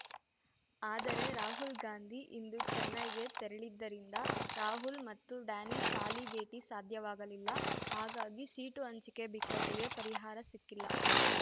ಆದರೆ ರಾಹಲ್‌ಗಾಂಧಿ ಇಂದು ಚೆನ್ನೈಗೆ ತೆರಳಿದ್ದರಿಂದ ರಾಹುಲ್ ಮತ್ತು ಡ್ಯಾನಿಶ್ ಆಲಿ ಭೇಟಿ ಸಾಧ್ಯವಾಗಲಿಲ್ಲ ಹಾಗಾಗಿ ಸೀಟು ಹಂಚಿಕೆ ಬಿಕ್ಕಟ್ಟಿಗೆ ಪರಿಹಾರ ಸಿಕ್ಕಿಲ್ಲ